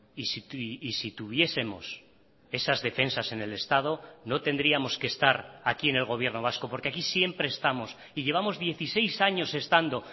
y si tuviesemos esas defensas en el estado no tendríamos que estar aquí en el gobierno vasco porque aquí siempre estamos y llevamos dieciséis años estando